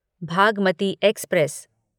Bhagmati express